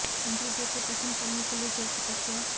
इंद्र देव को प्रसन्न करने के लिए जल तपस्या